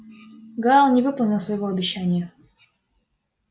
гаал не выполнил своего обещания